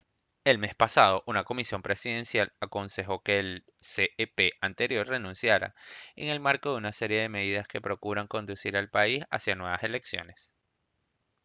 el mes pasado una comisión presidencial aconsejó que el cep anterior renunciara en el marco de una serie de medidas que procuran conducir al país hacia nuevas elecciones